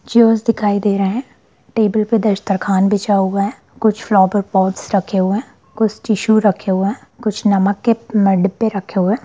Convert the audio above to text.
chairs दिखाई दे रहे हैं टेबल पे दस्तरखान बिछा हुआ है कुछ फ्लावर पॉट्स रखे हुए हैं कुछ टिश्यू रखे हुए हैं कुछ नमक के न अ डब्बे रखे हुए हैं|